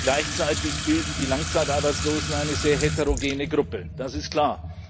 Gleichzeitig bilden die Langzeitarbeitslosen eine sehr heterogene Gruppe, das ist klar.